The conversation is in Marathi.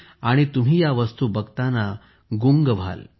तुम्ही या वस्तू बघाल तर बघतच राहाल